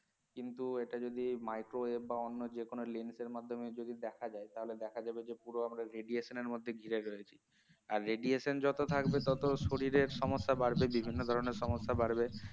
কিন্তু এটা যদি microwave বা অন্য বা যে কোন lens এর মাধ্যমে যদি দেখা যায় তাহলে দেখা যাবে যে পুরো আমরা radiation এর মধ্যে ঘিরে রয়েছি আর radiation যত থাকবে তত শরীরের সমস্যা বাড়বে বিভিন্ন ধরনের সমস্যা বাড়বে